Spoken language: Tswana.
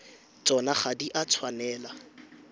tsona ga di a tshwanela